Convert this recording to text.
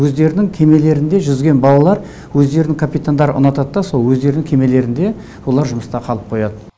өздерінің кемелерінде жүзген балалар өздерінің капитандары ұнатады да сол өздерінің кемелерінде олар жұмыста қалып қояды